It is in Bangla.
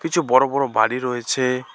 কিছু বড় বড় বাড়ি রয়েছে।